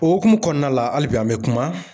O hokumu kɔnɔna la hali bi an be kuma